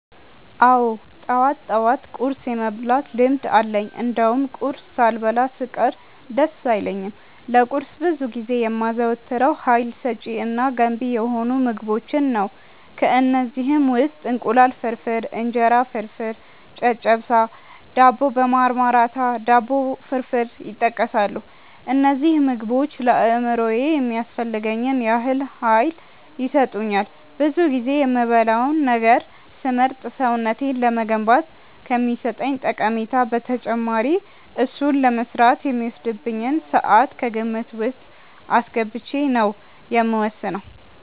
አዎ ጠዋት ጠዋት ቁርስ የመብላት ልምድ አለኝ እንደውም ቁርስ ሳልበላ ስቀር ደስ አይለኝም። ለቁርስ ብዙ ጊዜ የማዘወትረው ሀይል ሰጪ እና ገንቢ የሆኑ ምግቦችን ነው። ከእነዚህም ውስጥ እንቁላል ፍርፍር፣ እንጀራ ፍርፍር፣ ጨጨብሳ፣ ዳቦ በማርማራታ፣ ዳቦ ፍርፍር ይጠቀሳሉ። እነዚህ ምግቦች ለአእምሮዬ የሚያስፈልገኝን ያህል ሀይል ይሰጡኛል። ብዙ ጊዜ የምበላውን ነገር ስመርጥ ሰውነቴን ለመገንባት ከሚሰጠኝ ጠቀሜታ በተጨማሪ እሱን ለመስራት የሚወስድብኝን ስዓት ከግምት ውስጥ አስገብቼ ነው የምወስነው።